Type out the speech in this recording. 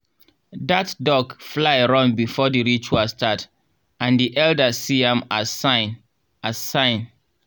that duck fly run before the ritual start and the elders see am as sign. as sign.